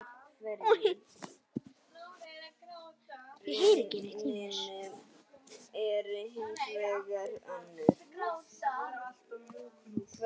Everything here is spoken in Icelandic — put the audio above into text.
Hann er með svipu núna.